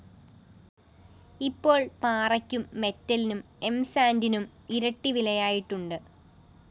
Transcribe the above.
ഇപ്പോള്‍ പാറയ്ക്കും മെറ്റിലിനും എംസാന്റിനും ഇരട്ടി വിലയായിട്ടുണ്ട്